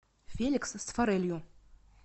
феликс с форелью